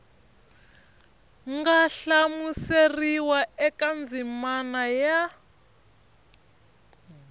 nga hlamuseriwa eka ndzimana ya